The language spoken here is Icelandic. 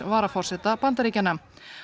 varaforseta Bandaríkjanna